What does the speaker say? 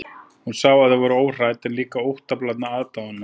Hún sá að þau voru hrædd, en líka óttablandna aðdáunina.